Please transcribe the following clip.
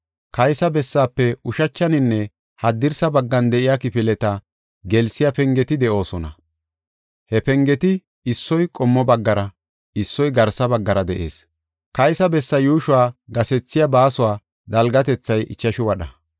Kaysa bessaafe ushachaninne haddirsa baggan de7iya kifileta gelsiya pengeti de7oosona. He pengeti issoy qommo baggara, issoy qassi garsa baggara de7ees. Kaysa bessaa yuushuwa gasethiya baasuwa dalgatethay ichashu wadha.